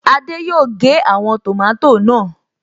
Adé yòó gé àwọn tòmátò náà